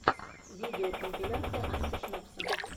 видеокомпиляция антишнапса